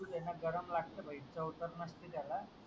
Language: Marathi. दूध दे ना गरम लागतं पहिले चव तर नसते त्याला